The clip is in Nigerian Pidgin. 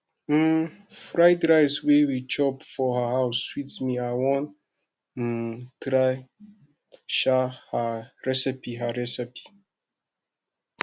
um fried rice wey we chop for her house sweet me i wan um try um her recipe her recipe